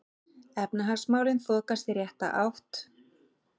Efnahagsmálin þokast í rétta átt